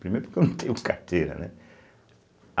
Primeiro porque eu não tenho carteira, né.